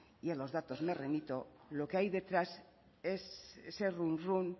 y a los datos me remito lo que hay detrás es ese runrún